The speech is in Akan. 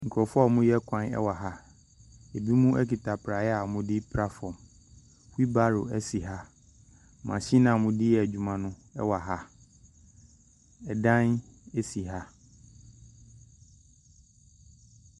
Nkurɔfoɔ a wɔreyɛ kwan wɔ ha. Ebinom kuta praeɛ a wɔde repra fam. Wheelbarro si ha. Machine a wɔde yɛ adwuma no wɔ ha. Dan si ha.